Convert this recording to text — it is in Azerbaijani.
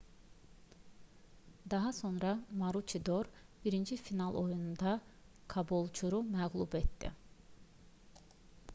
daha sonra maruçidor birinci final oyununda kabolçuru məğlub etdi